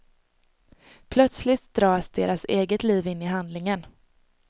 Plötsligt dras deras eget liv in i handlingen.